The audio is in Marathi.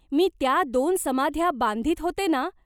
मी त्या दोन समाध्या बांधीत होते ना.